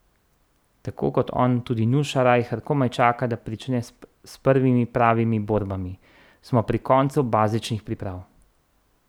Tako kot on, tudi Nuša Rajher komaj čaka, da prične s prvimi pravimi borbami: "Smo pri koncu bazičnih priprav.